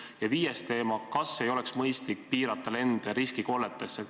Ja viiendaks, kas ei oleks mõistlik piirata lende riskikolletesse?